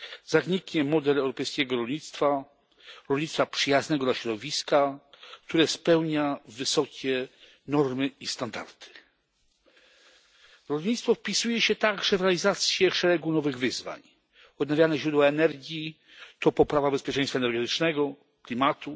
Zaniknie model europejskiego rolnictwa, rolnictwa przyjaznego dla środowiska, które spełnia wysokie normy i standardy. Rolnictwo wpisuje się także w realizację szeregu nowych wyzwań odnawialne źródła energii to poprawa bezpieczeństwa energetycznego, klimatu